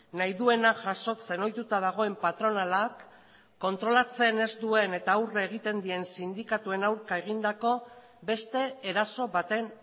nahi duena jasotzen ohituta dagoen patronalak kontrolatzen ez duen eta aurre egiten dien sindikatuen aurka egindako beste eraso baten